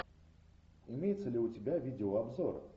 имеется ли у тебя видео обзор